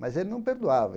Mas ele não perdoava.